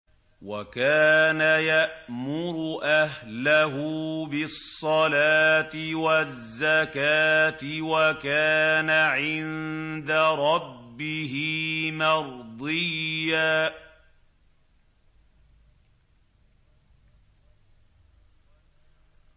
وَكَانَ يَأْمُرُ أَهْلَهُ بِالصَّلَاةِ وَالزَّكَاةِ وَكَانَ عِندَ رَبِّهِ مَرْضِيًّا